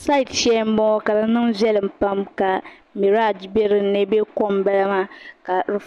tuma shee n boŋɔ ka di niŋ veliɛm Pam ka kobilikom bɛ ni ka yiya maa